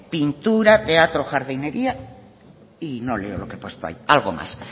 pintura teatro jardinería y no leo lo que he puesto ahí algo más